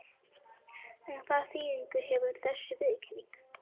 En hvaða þýðingu hefur þessi viðurkenning?